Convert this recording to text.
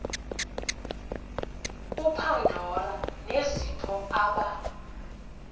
upandora nezipho aba